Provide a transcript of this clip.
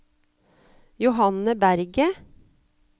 Johanne Berget